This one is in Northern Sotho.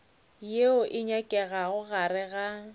yeo e nyakegago gare ga